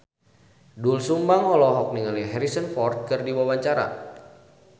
Doel Sumbang olohok ningali Harrison Ford keur diwawancara